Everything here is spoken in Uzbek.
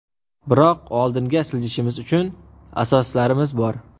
Biroq oldinga siljishimiz uchun asoslarimiz bor.